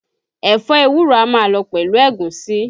Ẹ̀fọ́ ewúro a máa lọ pẹ̀lú ègúsí